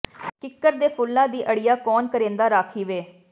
ਕਿੱਕਰ ਦੇ ਫੁੱਲਾਂ ਦੀ ਅੜਿਆ ਕੌਣ ਕਰੇਂਦਾ ਰਾਖੀ ਵੇ